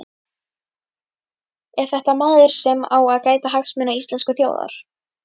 Er þetta maður sem á að gæta hagsmuna íslensku þjóðarinnar?